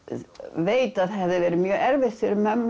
veit að það hefði verið mjög erfitt fyrir mömmu